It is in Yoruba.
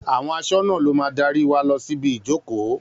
Àwọn aṣọ́nà lo máa darí wa lọ síbi ìjókòó